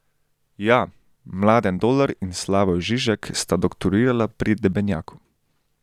Ja, Mladen Dolar in Slavoj Žižek sta doktorirala pri Debenjaku.